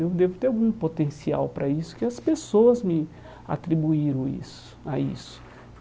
Eu devo ter algum potencial para isso, porque as pessoas me atribuíram isso, a isso.